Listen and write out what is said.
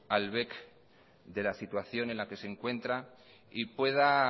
al bec de la situación en la que se encuentra y pueda